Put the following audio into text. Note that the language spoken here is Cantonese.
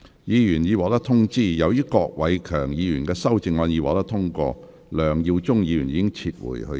議員已獲通知，由於郭偉强議員的修正案獲得通過，梁耀忠議員已撤回他的修正案。